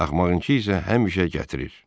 Axmağın ki isə həmişə gətirir.